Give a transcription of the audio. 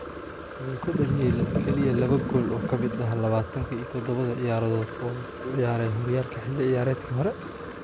Wuxuu dhaliyey kaliya laba gool oo ka mid ah lawatan iyo dodowa ciyaarood oo uu ku ciyaaray horyaalka xilli ciyaareedkii hore.